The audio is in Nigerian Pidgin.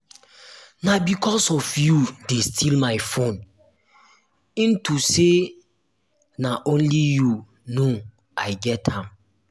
na because of you dey steal my phone into say na only you no i get am.